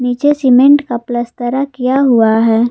पीछे सीमेंट का पलस्तरा किया हुआ है।